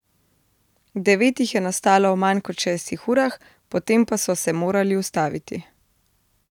Devet jih je nastalo v manj kot šestih urah, potem pa so se morali ustaviti.